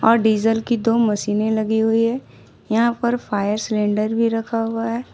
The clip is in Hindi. अ डीज़ल की दो मशीनें लगी हुई हैं यहां पर फायर सिलेंडर भी रखा हुआ हैं।